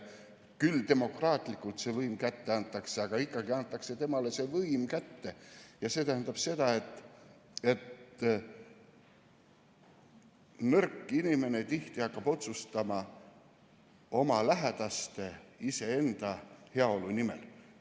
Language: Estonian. Küll demokraatlikult antakse see võim kätte, aga võim antakse kätte ja see tähendab seda, et nõrk inimene hakkab tihti otsustama oma lähedaste, iseenda heaolu nimel.